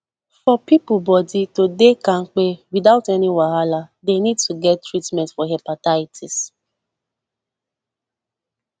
for people body to dey kampe without any wahala they need to get treatment for hepatitis